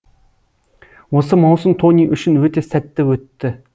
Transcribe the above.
осы маусым тони үшін өте сәтті өтті